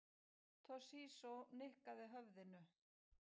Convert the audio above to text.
Toshizo nikkaði höfðinu.